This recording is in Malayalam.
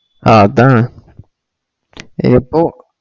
ആ അതാണ് എപ്പോ